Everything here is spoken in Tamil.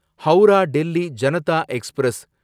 ஹவுரா டெல்லி ஜனதா எக்ஸ்பிரஸ்